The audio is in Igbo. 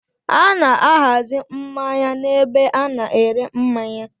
A na-ahazi mmanya n'ebe a na-ere mmanya.